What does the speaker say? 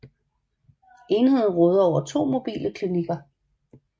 Enheden råder over to mobile klinikker